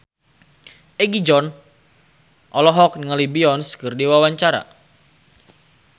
Egi John olohok ningali Beyonce keur diwawancara